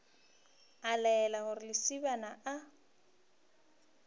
a laela gore lesibana a